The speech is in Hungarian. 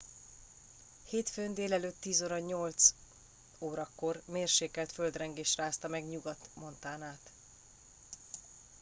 hétfőn d.e. 10:08 órakor mérsékelt földrengés rázta meg nyugat montanát